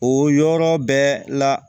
O yɔrɔ bɛɛ la